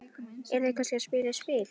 Eru þau kannski að spila á spil?